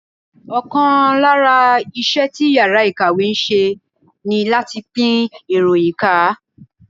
Ọ̀kan lára iṣẹ́ tí yàrá ìkàwé ń ṣe ní láti pín ìròyìn ká